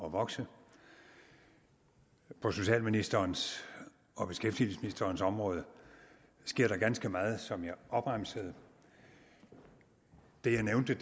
at vokse på socialministerens og beskæftigelsesministerens område sker der ganske meget som jeg opremsede det jeg nævnte